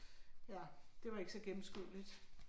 Ja, det var ikke så gennemskueligt